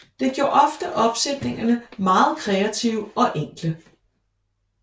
Det gjorde ofte opsætningerne meget kreative og enkle